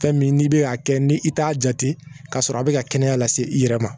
Fɛn min n'i bɛ a kɛ ni i t'a jate k'a sɔrɔ a bɛ ka kɛnɛya lase i yɛrɛ ma